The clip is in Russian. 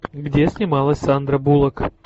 где снималась сандра буллок